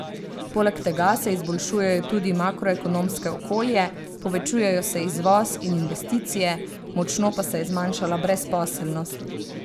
Poleg tega se izboljšujejo tudi makroekonomsko okolje, povečujejo se izvoz in investicije, močno pa se je zmanjšala brezposelnost.